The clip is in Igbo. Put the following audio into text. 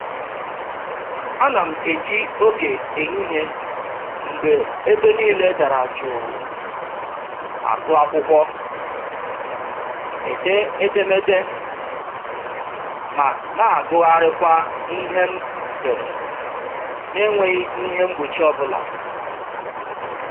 Ana m eji oge ehihie mgbe ebe niile dara jụụ agụ akwụkwọ, ede edemede, ma na-agụgharịkwa ihe m dere na-enweghị ihe mgbochi ọbụla